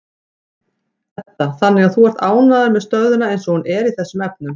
Edda: Þannig að þú ert ánægður með stöðuna eins og hún er í þessum efnum?